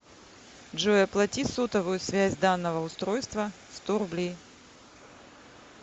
джой оплати сотовую связь данного устройства сто рублей